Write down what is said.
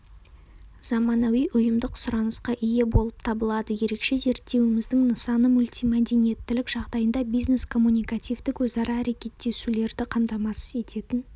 заманауи ұйымдық-сұранысқа ие болып табылады ерекше зерттеуіміздің нысаны мультимәдениеттілік жағдайында бизнес коммуникативтік өзара әрекеттесулерді қамтамасыз ететін